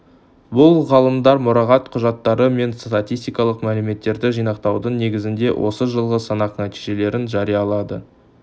бұл ғалымдар мұрағат құжаттары мен статистикалық мәліметтерді жинақтаудың негізінде осы жылғы санақ нәтижелерін жариялады